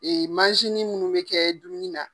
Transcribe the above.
Ee munnu be kɛ dumuni na.